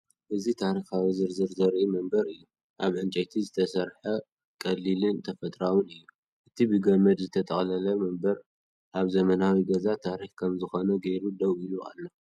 እዚ ታሪኻዊ ዝርዝር ዘርኢ መንበር እዩ። ካብ ዕንጨይቲ ዝተሰርሐ፣ ቀሊልን ተፈጥሮኣውን እዩ። እቲ ብገመድ ዝተጠቕለለ መንበር ኣብ ዘመናዊ ገዛ ታሪኽ ከም ዝኾነ ጌሩ ደው ኢሉ ኣሎ።